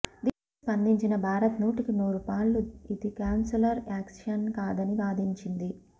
దీనిపై స్పందించిన భారత్ నూటికి నూరు పాళ్లు ఇది కాన్సులర్ యాక్సెస్ కాదని వాదించింది